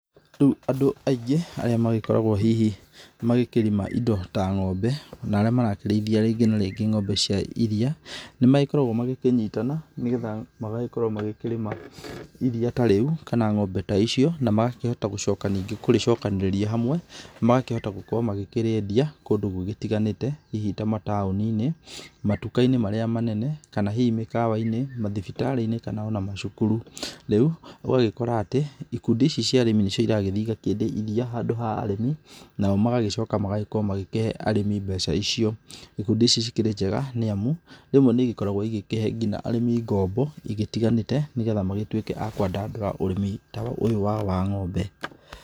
Rĩu andũ aingĩ arĩa magĩkoragwo hihi magĩkĩrĩma indo ta ng'ombe na arĩa marakĩrĩithia rĩngĩ na rĩngĩ ng'ombe cia iria, nĩ magĩkoragwo magĩkĩnyitana nĩgetha magagĩkorwo makĩrĩma iria ta rĩu, kana ng'ombe ta icio, na magakĩhota gũcoka ningĩ kũrĩcokanĩrĩria hamwe, na magakĩhota gũkorwo makĩrĩendia kũndũ gũgĩtiganĩte, hihi tamataũni-inĩ, matuka-inĩ marĩa manene, kana hihi mĩkawa-inĩ, mathibitarĩ-inĩ ona kana macukuru. Rĩu ũgagĩkora atĩ, ikundi ici cia arĩmi nĩcio ciragĩthiĩ cikendia iria handũ ha arĩmi, nao magagĩcoka magagĩkorwo makĩhe arĩmi mbeca icio. Ikundi ici cikĩrĩnjega nĩ amu rĩmwe nĩigĩkoragwo igĩkĩhe nginya arĩmi ngombo cigitiganĩte, nĩgetha magĩtuĩke a kwandandũra ũrĩmi ta ũyũ wao wa ng'ombe.